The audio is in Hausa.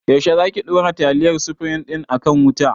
Yaushe za ki ɗora taliyar sufrim din a kan wuta?